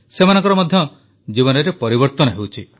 ସେମାନଙ୍କର ମଧ୍ୟ ଜୀବନ ପରିବର୍ତ୍ତନ ହେଉଛି